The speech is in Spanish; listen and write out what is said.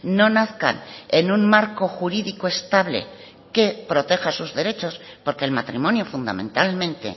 no nazcan en un marco jurídico estable que proteja sus derechos porque el matrimonio fundamentalmente